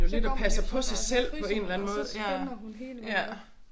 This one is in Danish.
Så går man jo sådan og fryser og så spænder hun hele vejen op